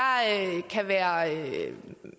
kan være